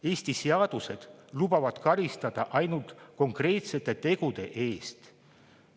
Eesti seadused lubavad karistada ainult konkreetsete tegude eest.